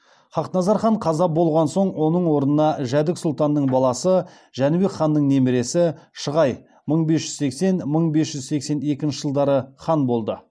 хақназар хан қаза болған соң оның орнына жәдік сұлтанның баласы жәнібек ханның немересі шығай мың бес жүз сексен мың бес жүз сексен екінші жылдары хан болды